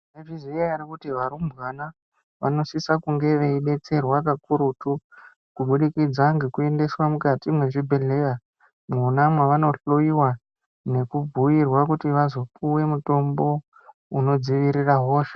Mwaizviziya ere kuti varumbwana vanosise kunge veidetserwa kakurutu kubudikidza ngekuendeswe mukati mwezvibhedhleya mwona mwaanohloyiwa Nekubhuirwa kuti vazopuwe mutombo unodziirira hosha.